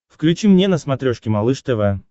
включи мне на смотрешке малыш тв